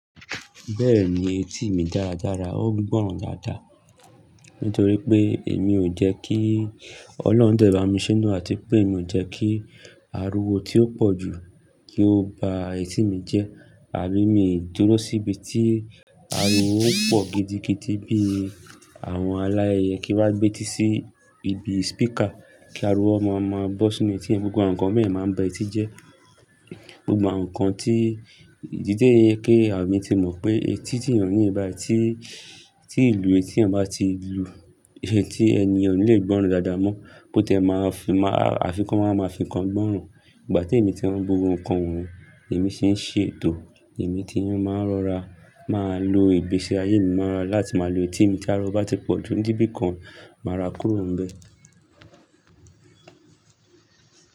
Bẹ́ẹ̀ni etí mi dára dára, ó gbọ́ràn dáadáa. Nítorí pé èmi ò jẹ́ kí Ọlọ́run dẹ̀ bá mi sínú àti pé èmi ò jẹ́ kí ariwo tí ó pọ̀ jù kí ó ba etí mi jẹ́. Àbí èmi ò dúró síbi tí ariwo ó pọ̀ gidigidi bí i àwọn aláàyè kí wá gbé ti sí ibi speaker kí ariwo má a má a bọ́ sínú etí. Gbogbo àwọn nǹkan mẹ́ẹ̀ná máa bẹ etí jẹ́. Gbogbo àwọn nǹkan tí ìdí té èké àbí ti mo mọ̀ pé etí tí ènìyàn ní ibi ti, tí ìlú etí ènìyàn bá ti lu, etí ẹni ò ní le gbọ́ràn dáadáa mọ́. Bo tẹ máa fi máa, àfikún máa ma fi nǹkan gbọ́ràn. Ìgbà tí èmi ti ń burú nǹkan wọ̀nyí, èmi sì ń ṣètò, èmi ti ń máa rọra, máa lo ìgbésẹ̀ ayé mi máa rọra láti máa lo etí mi kí ariwo bá ti pọ̀jù níbí kan, màá ra kúrò níbẹ̀